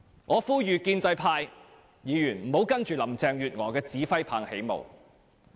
我呼籲建制派議員不要隨着林鄭月娥的指揮棒起舞。